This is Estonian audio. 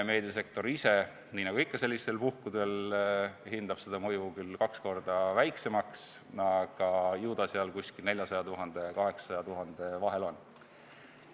Meediasektor ise, nii nagu ikka sellistel puhkudel, hindab seda mõju küll kaks korda väiksemaks, aga ju see 400 000 ja 800 000 euro vahel on.